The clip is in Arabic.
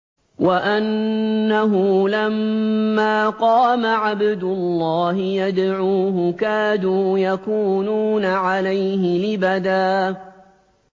وَأَنَّهُ لَمَّا قَامَ عَبْدُ اللَّهِ يَدْعُوهُ كَادُوا يَكُونُونَ عَلَيْهِ لِبَدًا